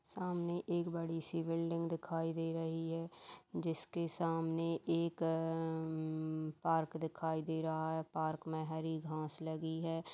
सामने एक बड़ी सी बिल्डिंग दिखाई दे रही है। जिसके सामने एक उम्म पार्क दिखाई दे रहा है। पार्क में हरी घास लगी है।